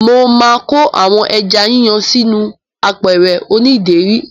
Mo ma ko àwọn ẹja yíyan sí inú àpẹ̀rẹ̀ oní ìdérí.